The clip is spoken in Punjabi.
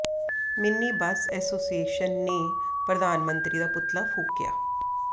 ਮਿੰਨੀ ਬੱਸ ਐਸੋਸੀਏਸ਼ਨ ਨੇ ਪ੍ਰਧਾਨ ਮੰਤਰੀ ਦਾ ਪੁਤਲਾ ਫੂਕਿਆ